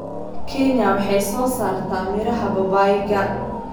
Kenya waxay soo saartaa miraha babaayga.